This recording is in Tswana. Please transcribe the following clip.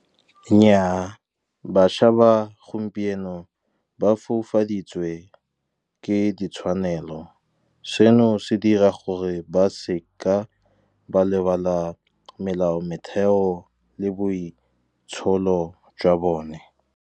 Nnyaa, bašwa ba gompieno ba foufaditswe ke ditshwanelo. Seno se dira gore ba se ka ba lebala melao, metheo le boitsholo jwa bone.